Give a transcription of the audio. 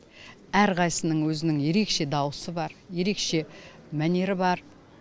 әрқайсысының өзінің ерекше дауысы бар ерекше мәнері бар